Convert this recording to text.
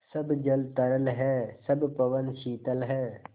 सब जल तरल है सब पवन शीतल है